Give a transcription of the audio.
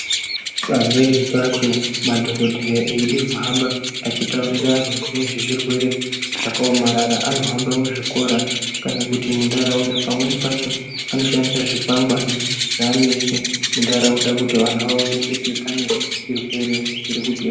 Pamweni pacho madhokodheya eide kuhamba achitauriara anhu nezvezvirwere zvakaomarara anohamba muzvikora kana kuti muntaraunda pamweni pacho anoshandiswa zvikwangwani zvavanoisa muntaraunda kuti vantu vaone kuti pane chirwere chiri kute.